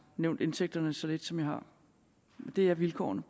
nævnt indtægterne så lidt som jeg har det er vilkårene